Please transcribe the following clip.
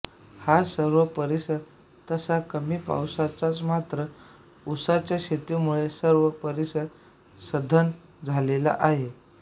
हा सर्व परिसर तसा कमी पावसाचाच मात्र ऊसाच्या शेतीमुळे सर्व परिसर सधन झालेला आहे